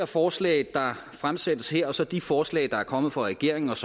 forslag der er fremsat her og så de forslag der er kommet fra regeringens